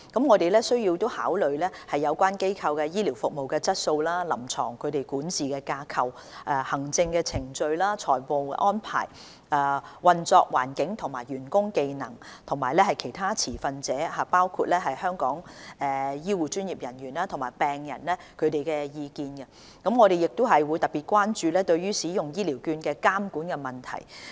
我們需要考慮有關機構的醫療服務質素、臨床管治架構、行政程序、財務安排、運作環境及員工技能，以及其他持份者的意見。我們亦特別關注對於使用醫療券的監管問題。